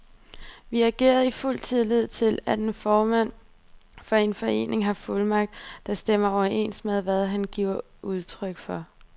Vi agerede i fuld tillid til, at en formand for en forening har fuldmagt, der stemmer overens med, hvad han giver udtryk for.